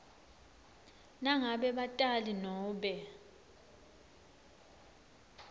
nangabe batali nobe